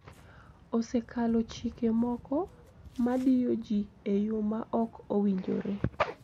Osekalo chike moko" madiyo ji e yo ma ok owinjore"